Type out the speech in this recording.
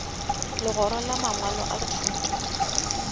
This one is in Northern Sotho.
legora la mangwalo a thuto